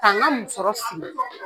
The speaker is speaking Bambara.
k'an ka musɔrɔ siri